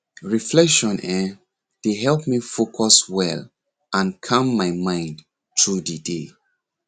reflection[um]dey help me focus well and calm my mind through the day